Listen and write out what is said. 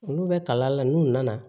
Olu bɛ kalan la n'u nana